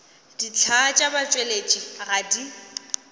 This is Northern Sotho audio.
dihlaa tša batšweletši ga di